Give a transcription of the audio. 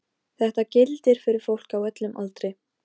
Ég vona samt að fari að ganga betur.